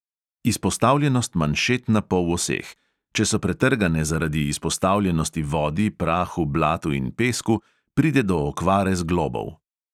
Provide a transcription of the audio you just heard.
Izpostavljenost manšet na poloseh: če so pretrgane zaradi izpostavljenosti vodi, prahu, blatu in pesku, pride do okvare zglobov.